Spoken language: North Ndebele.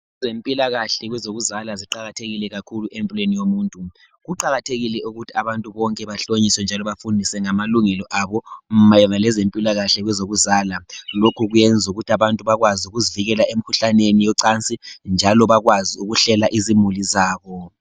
Ezempilakahle kwezokuzala ziqakathekile kakhulu empilweni yomuntu. Kuqakathekile ukuthi abantu bonke bahlonyiswe njalo bafundiswe ngamalungelo abo mayelana lezempilakahle kwezokuzala. Lokhu kuyenzu kuthi abantu bakwazi ukuzivikela emikhuhlaneni yocansi njalo bakwazi ukuhlela izimuli zabo